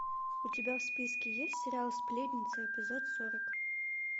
у тебя в списке есть сериал сплетницы эпизод сорок